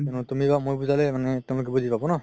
তুমি বা মই বুজালে তেওলোকে বুজি পাব ন